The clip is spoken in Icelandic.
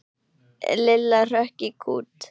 Lilla hrökk í kút.